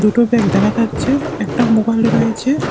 দুটো ব্যাগ দেখা যাচ্ছে একটা মোবাইল রয়েছে।